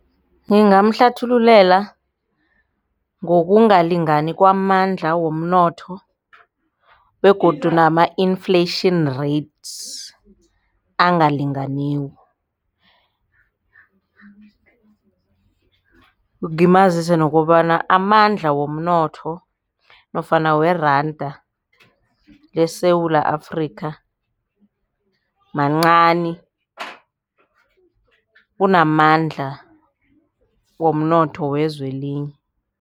Ngingamhlathululela ngokungalingani kwamandla womnotho begodu nama i-inflation rates angalinganiko. Ngimazise nokobana amandla womnotho nofana weranda leSewula Afrika mancani kunamandla womnotho wezwe elinye.